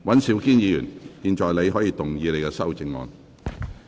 尹兆堅議員，你可以動議你的修正案。